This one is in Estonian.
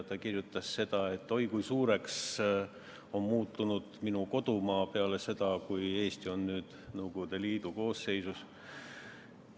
Ta kirjutas, et oi kui suureks on muutunud minu kodumaa peale seda, kui Eesti on Nõukogude Liidu koosseisus.